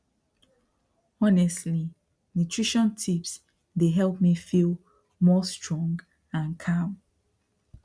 honestly nutrition tips dey help me feel more strong and calm